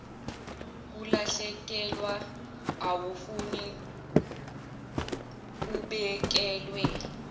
kulahlekelwa awufuni kubekelwe